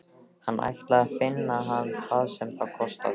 Hann ætlaði að finna hann hvað sem það kostaði.